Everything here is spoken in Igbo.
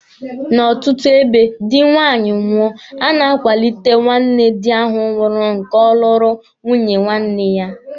N'ọtụtụ ebe, dị nwaanyị nwụọ, a na-akwalite nwanne di ahụ nwụrụnụ ka ọ lụọ nwunye nwanne ya.